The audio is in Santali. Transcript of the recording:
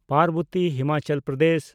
ᱯᱟᱨᱵᱚᱛᱤ (ᱦᱤᱢᱟᱪᱟᱞ ᱯᱨᱚᱫᱮᱥ)